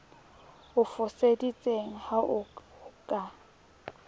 o foseditseng ha ho ka